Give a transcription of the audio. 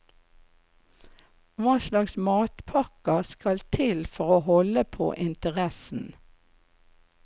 Hva slags matpakker skal til for å holde på interessen?